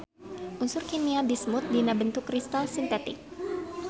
Unsur kimia bismut dina bentuk kristal sintetik.